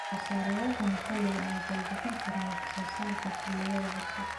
Soosaarayaasha maxalliga ah waxay bixin karaan wax soo saar xilliyeed oo cusub.